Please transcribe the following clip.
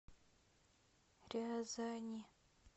рязани